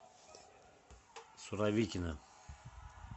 суровикино